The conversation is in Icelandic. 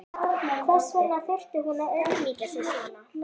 Hvers vegna þurfti hún að auðmýkja sig svona?